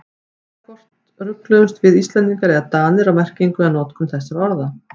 Það er hvort rugluðumst við Íslendingar eða Danir á merkingu eða notkun þessara orða.